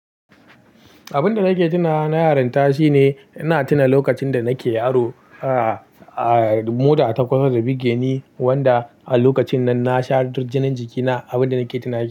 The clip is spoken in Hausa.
Abin da nake tuna na yaran ta shine ina tuna lokacin da nake yaro, ah, ah, mota ta kusa ta bige ni, wanda a lokacin nan na sha duk jinin jikina.